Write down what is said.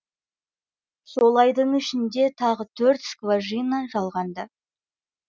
сол айдың ішінде тағы төрт скважина жалғанды